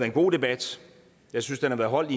en god debat jeg synes den har været holdt